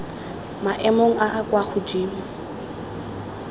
maemong a a kwa godimo